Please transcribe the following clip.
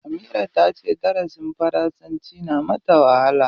Amira ta ce darasin faransanci yana mata wahala.